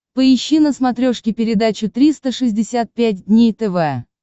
поищи на смотрешке передачу триста шестьдесят пять дней тв